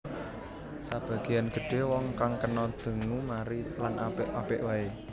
Sebagean gedhe wong kang kena dengue mari lan apik apik wae